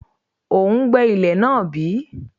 O ń gbẹ́ ilẹ̀ náà bí?